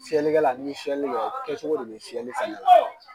Fiyɛlikɛla n'i fiyɛli kɛ, kɛcogo de be fiyɛli fɛnɛ la.